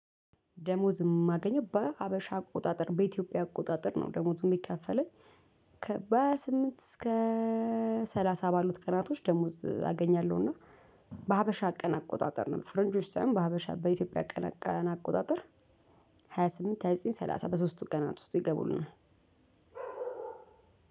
ደሞዝ የማገኘው በሀበሻ አቆጣጠር በኢትዮጵያ አቆጣጠር ነው ደሞዝ የሚከፈለኝ ከበ ስምንት እስከ ሰላሳ ባሉት ቀናቶች ደሞዝ አገኛለሁ። እና በሀበሻ ቀን አቆጣጠር ነበር ፍርንጆች ሳይሆን በሀበሻ በኢትዮጵያ ቀና አቆጣጠር። ሃያ ስምንት ሃያ ዘጠኝ ሰላሳ በሶስቱ ቀናት ውስጥ ይገቡልናል።